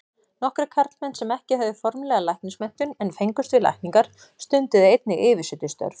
Nokkrir karlmenn sem ekki höfðu formlega læknismenntun en fengust við lækningar, stunduðu einnig yfirsetustörf.